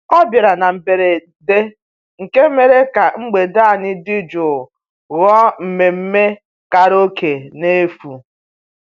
ọ bịara na mberede nke mere ka mgbede anyị dị jụụ ghọọ mmemmé karaoke n'efu